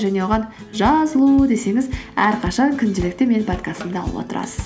және оған жазылу десеңіз әрқашан күнделікті менің подкастымды алып отырасыз